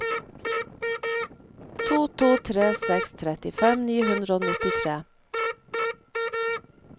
to to tre seks trettifem ni hundre og nittitre